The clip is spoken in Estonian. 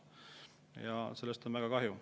Ja sellest on väga kahju.